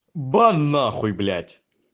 бан нахуй блять